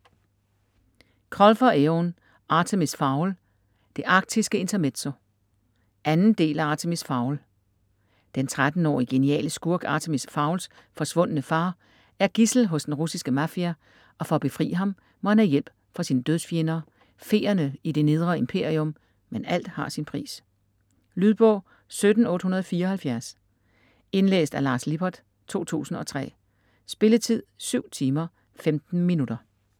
Colfer, Eoin: Artemis Fowl - det arktiske intermezzo 2. del af Artemis Fowl. Den 13-årige geniale skurk Artemis Fowls forsvundne far er gidsel hos den russiske mafia, og for at befri ham, må han have hjælp fra sine dødsfjender, feerne i Det Nedre Imperium, men alt har sin pris ... Lydbog 17874 Indlæst af Lars Lippert, 2003. Spilletid: 7 timer, 15 minutter.